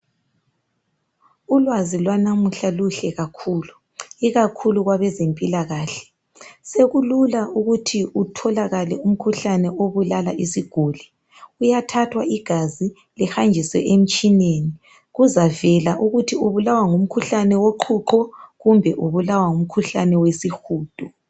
Ulwazi lwanamuhla luhle kakhulu ikakhulu kwabezempilakahle. Sekulula ukuthi utholakale umkhuhlane obulala isiguli. Kuyathathwa igazi lihanjiswe emtshineni kuzavela ukuthi ubulawa ngumkhuhlane woqhuqho kumbe ubulawa ngumkhuhlane wesihudo.